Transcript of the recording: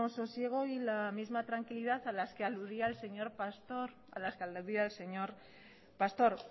sosiego y la misma tranquilidad a las que aludía el señor pastor